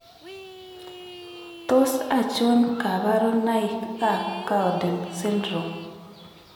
Tos achon kabarunaik ab Cowden syndrome ?